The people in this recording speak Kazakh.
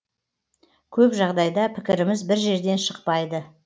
көп жағдайда пікіріміз бір жерден шықпайды